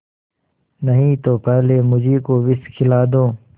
नहीं तो पहले मुझी को विष खिला दो